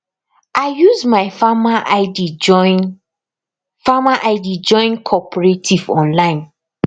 i use my farmer id join farmer id join cooperative online